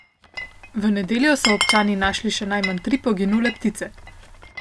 V nedeljo so občani našli še najmanj tri poginule ptice.